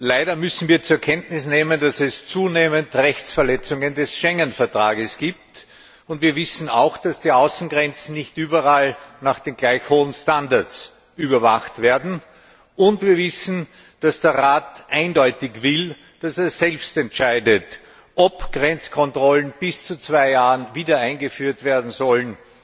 Leider müssen wir zur Kenntnis nehmen, dass es zunehmend Verletzungen des Schengen Vertrags gibt, und wir wissen auch, dass die Außengrenzen nicht überall nach gleich hohen Standards überwacht werden. Wir wissen, dass der Rat eindeutig will, dass er selbst entscheidet, ob Grenzkontrollen für bis zu zwei Jahre wieder eingeführt werden sollen